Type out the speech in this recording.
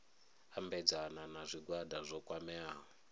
ambedzana na zwigwada zwo kwameaho